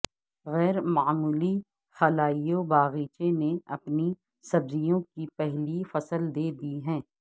غیر معمولی خلائی باغیچے نے اپنی سبزیوں کی پہلی فصل دے دی ہے